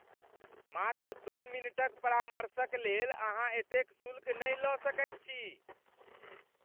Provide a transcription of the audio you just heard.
मात्र दू मिनटक परामर्शक लेल अहाँ एतेक शुल्क नहि लऽ सकैत छी !